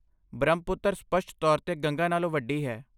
ਬ੍ਰਹਮਪੁੱਤਰ ਸਪੱਸ਼ਟ ਤੌਰ 'ਤੇ ਗੰਗਾ ਨਾਲੋਂ ਵੱਡੀ ਹੈ।